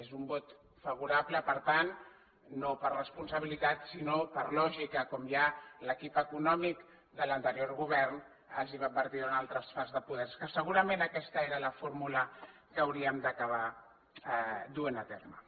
és un vot favorable per tant no per responsabilitat sinó per lògica com ja l’equip econòmic de l’anterior govern els va advertir durant el traspàs de poders que segurament aquesta era la fórmula que hauríem d’acabar duent a terme